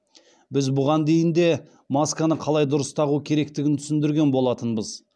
біз бұған дейін де масканы қалай дұрыс тағу керектігін түсіндірген болатынбыз